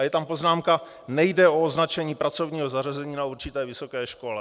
A je tam poznámka "nejde o označení pracovního zařazení na určité vysoké škole".